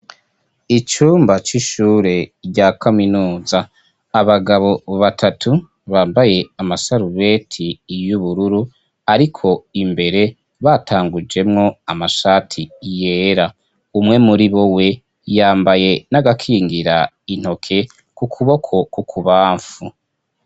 Icumba c'ishure rya kaminuza, abagabo batatu bambaye amasarubeti y'ubururu ariko imbere batangujemo amashati yera, umwe muri bo we yambaye n'agakingira intoke ku kuboko kw'ukubamfu.